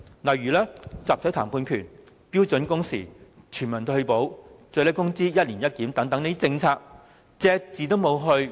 對於集體談判權、標準工時、全民退保、最低工資"一年一檢"等政策，均隻字不提。